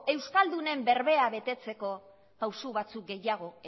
euskaldunen berba betetzeko pausu batzuk gehiago